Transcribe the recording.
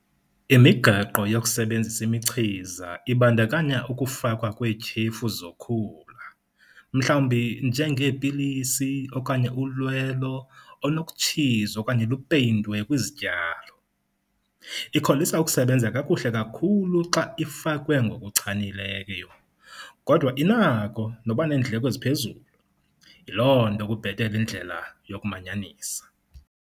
Imigaqo yokusebenzisa imichiza ibandakanya ukufakwa kweetyhefu zokhula, mhlawumbi njengeepilisi okanye ulwelo olunokutshizwa okanye lupeyintwe kwizityalo. Ikholisa ukusebenza kakuhle kakhulu xa ifakwe ngokuchanileyo, kodwa inako noba neendleko eziphezulu, yiloo nto kubhetele indlela yokumanyanisa.